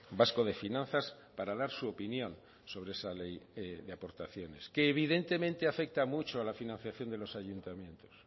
vasco de finanzas para dar su opinión sobre esa ley de aportaciones que evidentemente afecta mucho a la financiación de los ayuntamientos